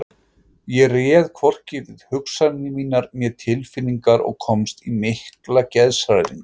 Ég réð hvorki við hugsanir mínar né tilfinningar og komst í mikla geðshræringu.